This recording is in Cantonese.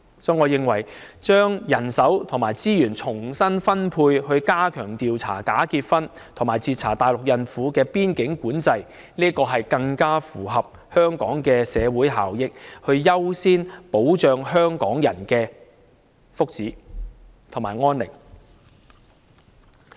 所以，我認為把人手和資源重新分配，以加強調查假結婚和截查大陸孕婦的邊境管制，這將更符合香港的社會效益，優先保障香港人的福祉和安寧。